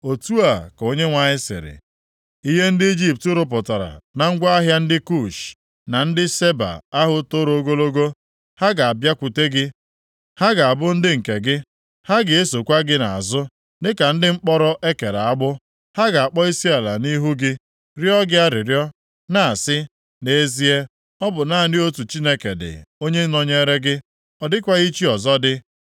Otu a ka Onyenwe anyị sịrị, “Ihe ndị Ijipt rụpụtara na ngwa ahịa ndị Kush na ndị Saba ahụ toro ogologo, ha ga-abịakwute gị, ha ga-abụ nke gị; ha ga-esokwa gị nʼazụ dịka ndị mkpọrọ e kere agbụ. Ha ga-akpọ isiala nʼihu gị rịọ gị arịrịọ, na-asị, ‘Nʼezie, ọ bụ naanị otu Chineke dị, onye nọnyere gị, ọ dịkwaghị chi ọzọ dị.’ ”